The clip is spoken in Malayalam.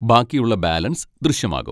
ബാക്കിയുള്ള ബാലൻസ് ദൃശ്യമാകും.